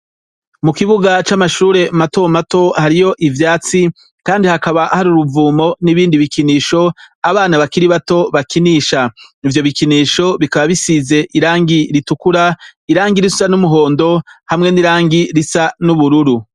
Mukibuga camashure matomato hariho ivyatsi kdi hakaba hari uruvumo nibindi bikinisho abana bakiri bato bakinisha ivyo bikinisho bisize irangi ritukura, irangi ry'umuhondo, hamwe nirangi risa nubururu.